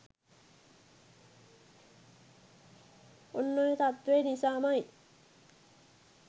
ඔන්න ඔය තත්ත්වය නිසාම යි